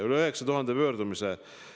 Üle 9000 pöördumise!